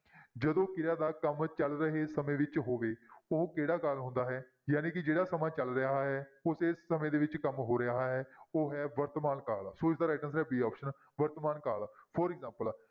ਜਦੋਂ ਕਿਰਿਆ ਦਾ ਕੰਮ ਚੱਲ ਰਹੇ ਸਮੇਂ ਵਿੱਚ ਹੋਵੇ ਉਹ ਕਿਹੜਾ ਕਾਲ ਹੁੰਦਾ ਹੈ ਜਾਣੀ ਕਿ ਜਿਹੜਾ ਸਮਾਂ ਚੱਲ ਰਿਹਾ ਹੈ ਉਸੇ ਸਮੇਂ ਦੇ ਵਿੱਚ ਕੰਮ ਹੋ ਰਿਹਾ ਹੈ ਉਹ ਹੈ ਵਰਤਮਾਨ ਕਾਲ ਸੋ ਇਸਦਾ right answer b option ਵਰਤਮਾਨ ਕਾਲ for example